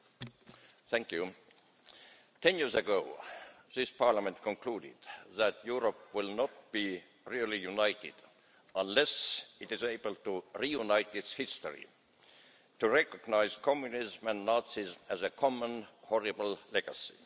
Mr President, 10 years ago this Parliament concluded that Europe will not be really united unless it is able to reunite its history, to recognise Communism and Nazism as a common horrible legacy.